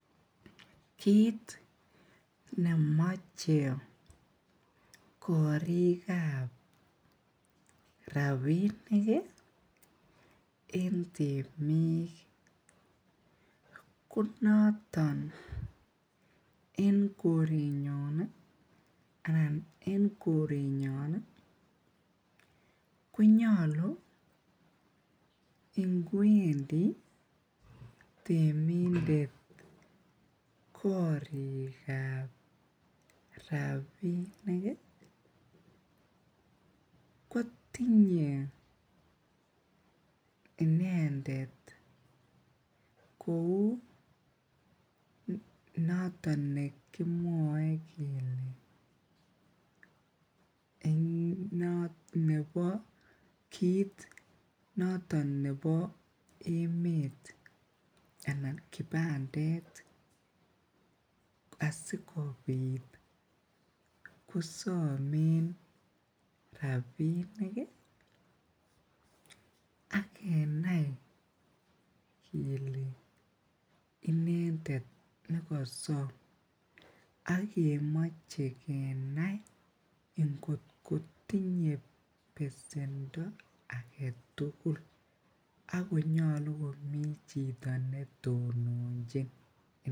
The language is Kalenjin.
Kit nemache korikab rabinik ih en temik ih konaton en koret nyon ih anan en koret nyon ih konyalu inkwendi temindet korikab rabinik ih, kotinye inendet kouu noton nekimwae kele nebo kit noton nebo emeet anan kipandet asikobit kosamen rabinik ih akenai kele inendet nekasom. Akemoche kenai ingot kotinye besendo age chito nesome